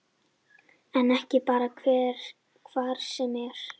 En ekki bara hvar sem er